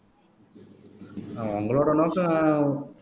அஹ் உங்களோட நோக்கம்